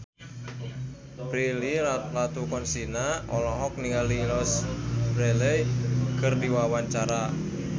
Prilly Latuconsina olohok ningali Louise Brealey keur diwawancara